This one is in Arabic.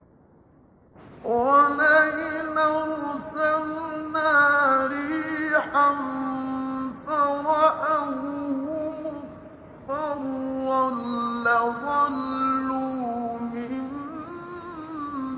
وَلَئِنْ أَرْسَلْنَا رِيحًا فَرَأَوْهُ مُصْفَرًّا لَّظَلُّوا مِن بَعْدِهِ يَكْفُرُونَ